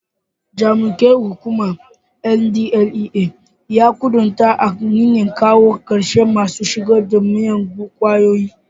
Jami'ar hukumar NDLEA ya kudarta a niyyar kawo karshen masu shigo da miyagun kwayoyi.